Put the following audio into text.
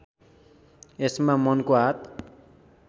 यसमा मनको हात